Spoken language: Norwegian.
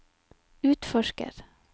utforsker